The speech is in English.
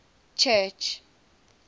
church